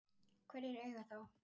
Hverjir eiga þá?